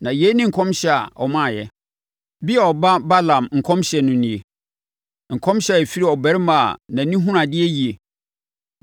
na yei ne nkɔmhyɛ a ɔmaaeɛ: “Beor ba Balaam nkɔmhyɛ no nie; nkɔmhyɛ a ɛfiri ɔbarima a nʼani hunu adeɛ yie,